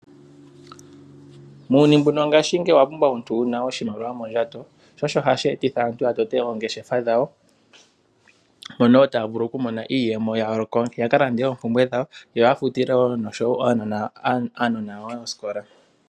Muuyuni mbuno wongashingeyi owa pumbwa omuntu wu na oshimaliwa mondjato. Sho osho hashi etitha aantu ya tote oongeshefa dhawo mono taya vulu oku mona iiyemo yawo, ya kalande oompumbwe dhawo yo ya futile wo noshowo aanona yawo oosikola.